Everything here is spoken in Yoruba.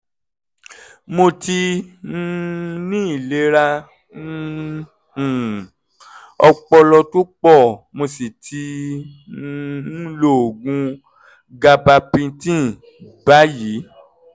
mo ti um ní àìlera um um ọpọlọ tó pọ̀ mo sì ti um ń lo oògùn gabapentin báyìí